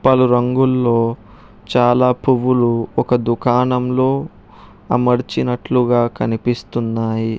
పలు రంగుల్లో చాలా పువ్వులు ఒక దుకాణంలో అమర్చినట్లుగా కనిపిస్తున్నాయి.